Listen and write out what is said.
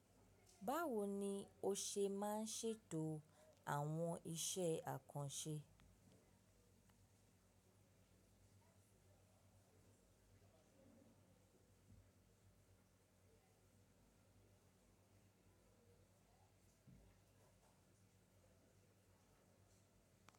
Báwo ni o ṣe máa ń ṣètò àwọn iṣẹ́ àkànṣe?